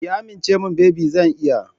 Ki amince min baby zan iya.